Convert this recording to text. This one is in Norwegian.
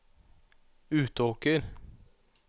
Utåker